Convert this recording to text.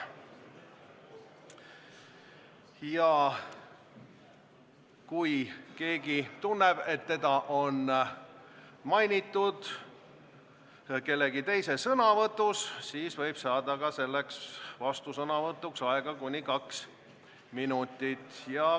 Ja kui keegi kuuleb, et teda on mainitud kellegi teise sõnavõtus, siis võib ta saada vastusõnavõtuks aega kuni kaks minutit.